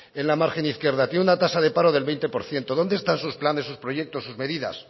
en la margen izquierda tiene una tasa de paro del veinte por ciento dónde están sus planes sus proyectos sus medidas